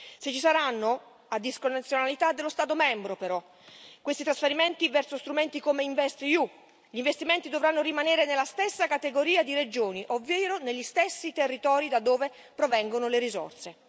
Se ci saranno a discrezionalità dello Stato membro, però questi trasferimenti verso strumenti come investEU, gli investimenti dovranno rimanere nella stessa categoria di regioni, ovvero negli stessi territori da dove provengono le risorse.